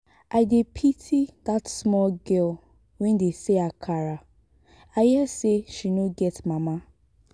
i dey pity dat small girl wey dey sell akara i hear say she no get mama